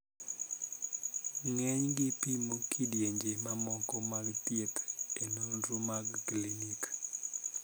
Ng'enygi pimo kidienje mamoko mag thieth e nonro mag klinik